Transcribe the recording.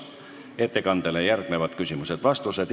Ettekandele järgnevad küsimused ja vastused.